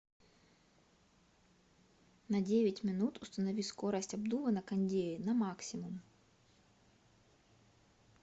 на девять минут установи скорость обдува на кондее на максимум